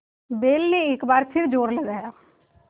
बैल ने एक बार फिर जोर लगाया